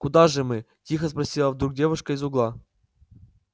куда же мы тихо спросила вдруг девушка из угла